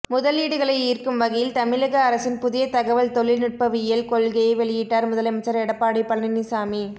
முதலீடுகளை ஈர்க்கும் வகையில் தமிழக அரசின் புதிய தகவல் தொழில் நுட்பவியல் கொள்கையை வெளியிட்டார் முதலமைச்சர் எடப்பாடி பழனிசாமி